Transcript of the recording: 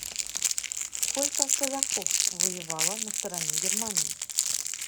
сколько казаков воевало на стороне германии